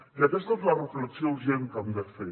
i aquesta és la reflexió urgent que hem de fer